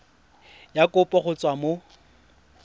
ya kopo go tswa mo